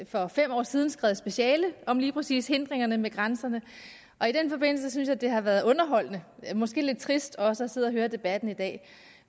for fem år siden skrevet speciale om lige præcis hindringerne ved grænserne og i den forbindelse synes jeg at det har været underholdende måske lidt trist også at sidde og høre på debatten i dag